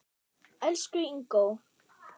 Elsku Ingó.